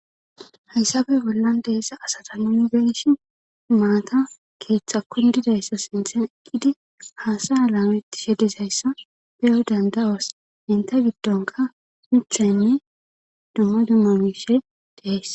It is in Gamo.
Haysappe bollan deessa asata nunbeshi maata keeththa kundidayssa sinthen eqqidi haasaya laameti shedizayssa beyo danda7os inta giddonka huctheynne dumma dumma miishe deheys.